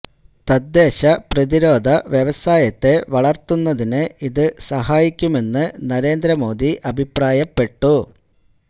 തദ്ദേശ പ്രതിരോധ വ്യവസായത്തെ വളര്ത്തുന്നതിന് ഇത് സഹായിക്കുമെന്ന് നരേന്ദ്ര മോദി അഭിപ്രായപ്പെട്ടു